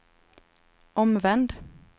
omvänd